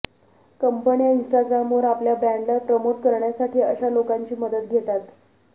कंपन्या इन्स्ट्राग्रामवर आपल्या ब्रॅण्डला प्रमोट करण्यासाठी अशा लोकांची मदत घेतात